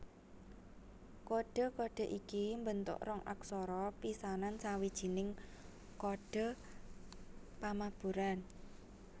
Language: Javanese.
Kodhe kodhe iki mbentuk rong aksara pisanan sawijining kodhe pamaburan